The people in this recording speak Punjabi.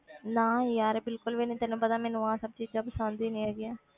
ਨਾ ਯਾਰ ਬਿਲਕੁਲ ਵੀ ਨੀ ਤੈਨੂੰ ਪਤਾ ਮੈਨੂੰ ਆਹ ਸਭ ਚੀਜ਼ਾਂ ਪਸੰਦ ਹੀ ਨੀ ਹੈਗੀਆਂ।